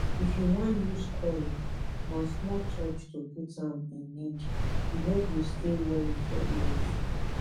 if you wan use coil na small touch to put am e need u no go stay worry for years